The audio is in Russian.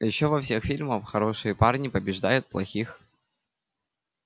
а ещё во всех фильмах хорошие парни побеждают плохих